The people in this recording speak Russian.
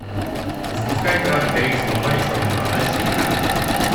запуская пираты карибского моря черная борода четыре ка